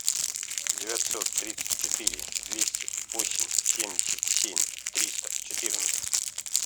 девятьсот тридцать четыре двести восемь семьдесят семь триста четырнадцать